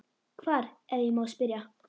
Hvar, ef ég má spyrja?